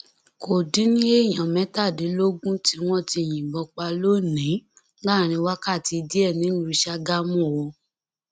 kò dín ní èèyàn mẹtàdínlógún tiwọn tí yìnbọn pa lónìín láàrin wákàtí díẹ nílùú sàgámù o